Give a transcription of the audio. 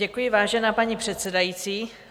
Děkuji, vážená paní předsedající.